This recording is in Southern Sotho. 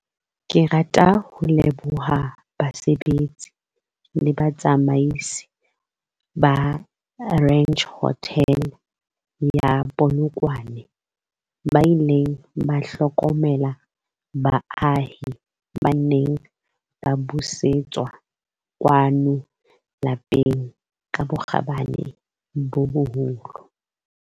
Ke rata ho leboha basebetsi le batsamaisi ba Ranch Hotel ya Polokwane, ba ileng ba hlokomela baahi ba neng ba busetswa kwano lapeng ka bokgabane bo boholo.